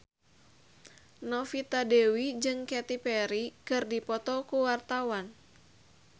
Novita Dewi jeung Katy Perry keur dipoto ku wartawan